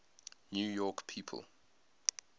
new york people